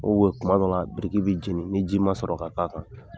kuma dɔ la biriki bɛ jeni ni ji ma sɔrɔ ka' kan